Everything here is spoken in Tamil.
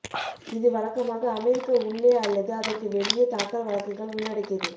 இது வழக்கமாக அமெரிக்க உள்ளே அல்லது அதற்கு வெளியே தாக்கல் வழக்குகள் உள்ளடக்கியது